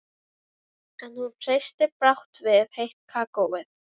Gallerís Borgar á gjöldum til sjóðsins væru ekki viðunandi.